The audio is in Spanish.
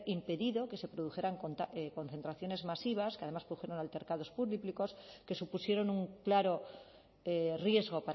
impedido que se produjeran concentraciones masivas que además produjeron altercados públicos que supusieron un claro riesgo